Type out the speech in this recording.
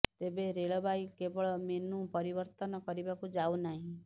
ତେବେ ରେଳବାଇ କେବଳ ମେନୁ ପରିବର୍ତ୍ତନ କରିବାକୁ ଯାଉ ନାହିଁ